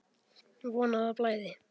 Von að það blæði!